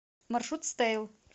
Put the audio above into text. маршрут стеил